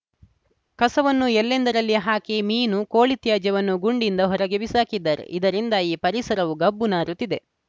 ಕಸವನ್ನು ಎಲ್ಲೆಂದರಲ್ಲಿ ಹಾಕಿ ಮೀನು ಕೋಳಿತ್ಯಾಜ್ಯವನ್ನು ಗುಂಡಿಯಿಂದ ಹೊರಗೆ ಬಿಸಾಕಿದ್ದಾರೆ ಇದರಿಂದ ಈ ಪರಿಸರವು ಗಬ್ಬು ನಾರುತ್ತಿದೆ